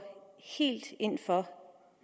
ind for